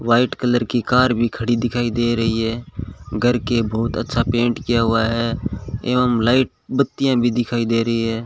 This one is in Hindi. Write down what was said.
व्हाइट कलर की कार भी खड़ी दिखाई दे रही है घर के बहुत अच्छा पेंट किया हुआ है एवं लाइट बत्तियां भी दिखाई दे रही है।